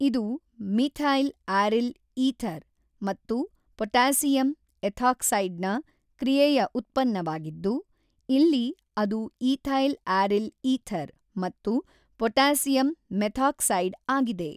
ಇದು methyl aryl ether ಮತ್ತು potassium ಎಥಾಕ್ಸೈಡ್ನ ಕ್ರಿಯೆಯ ಉತ್ಪನ್ನವಾಗಿದ್ದು ಇಲ್ಲಿ ಅದು ಈಥೈಲ್ ಆರಿಲ್ ಈಥರ್ ಮತ್ತು ಪೊಟ್ಯಾಸಿಯಮ್ ಮೆಥಾಕ್ಸೈಡ್ ಆಗಿದೆ.